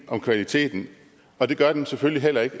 om kvaliteten og det gør den selvfølgelig heller ikke